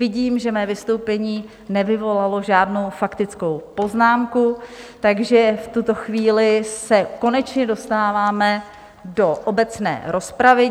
Vidím, že mé vystoupení nevyvolalo žádnou faktickou poznámku, takže v tuto chvíli se konečně dostáváme do obecné rozpravy.